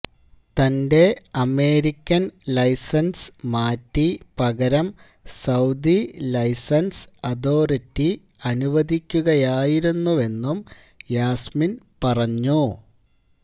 തന്റെ American license മാറ്റി പകരം സൌദി ലൈസൻസ് അതോറിറ്റി അനുവദിക്കുകയായിരുന്നെന്നും യാസ്മിൻ പറഞ്ഞു